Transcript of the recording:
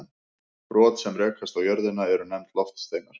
Brot sem rekast á jörðina eru nefnd loftsteinar.